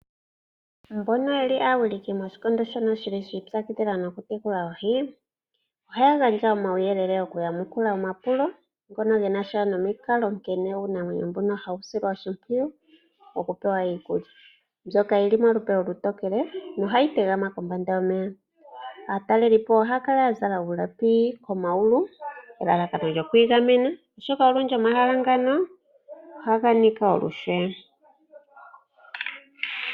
Mbono yeli aawiliki moshikondo shono shili shipyakidhila nokutekula oohi ohaya gandja omauyelele okuyamukula omapulo ngono genasha nomikalo nkene uunamwenyo mbuka hawu silwa oshipwiyu okupewa iikulya mbyoka yili molupe olutokele nohayi tegama kombanda yomeya aatalelipo ohaya kala yazala uulapi komayulu elalakano lyokwigamena oshoka olundji omahala ngano ohaga niika olushe